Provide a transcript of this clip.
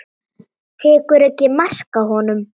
Tekur ekki mark á honum.